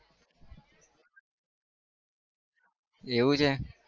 એવું છે?